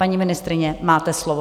Paní ministryně, máte slovo.